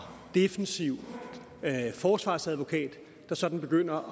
defensiv forsvarsadvokat der sådan begynder